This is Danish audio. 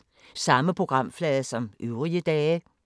Samme programflade som øvrige dage